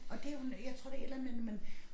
Og det jo jeg tror det et eller andet med når man